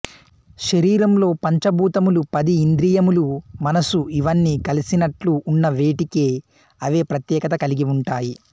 శరీరంలో పంచ భూతములు పది ఇంద్రియములు మనసు ఇవన్నీ కలిసినట్లు ఉన్నా వేటికి అవే ప్రత్యేకత కలిగి ఉంటాయి